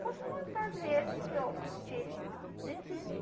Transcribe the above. Posso contar as vezes que eu estive no dentista.